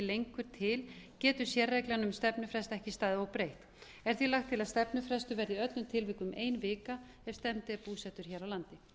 lengur til getur sérreglan um stefnufrest ekki staðið óbreytt er því lagt til að stefnufrestur verði í öllum tilvikum ein vika ef stefndi er búsettur hér á landi